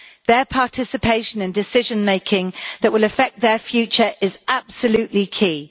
Their participation in decision-making that will affect their future is absolutely key.